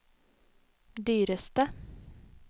dyreste